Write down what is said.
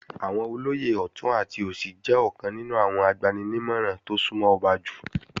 Àwọn olóyè ọ̀tún àti òsì jẹ́ ọ̀kan nínú àwọn agbani-nímọ̀ràn tó súnmọ́ ọba jù